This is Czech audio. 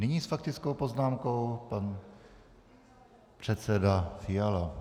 Nyní s faktickou poznámkou pan předseda Fiala.